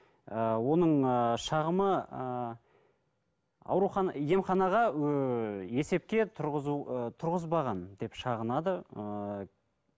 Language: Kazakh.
ыыы оның ыыы шағымы ыыы аурухана емханаға ыыы есепке тұрғызу ы тұрғызбаған деп шағынады ыыы